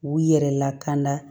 U yɛrɛ lakana